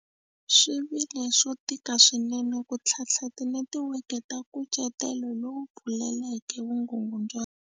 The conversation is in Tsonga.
Swi vile swo tika swinene ku ntlhatlha tinetiweke ta nkucetelo lowu pfuleleke vukungundwana.